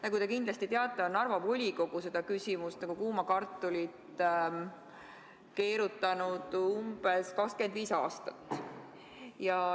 Nagu te kindlasti teate, on Narva volikogu seda küsimust justkui kuuma kartulit keerutanud umbes 25 aastat.